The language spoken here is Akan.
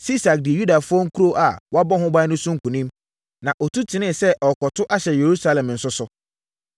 Sisak dii Yudafoɔ nkuro a wɔabɔ ho ban no so nkonim, na ɔtu tenee sɛ ɔrekɔto ahyɛ Yerusalem nso so.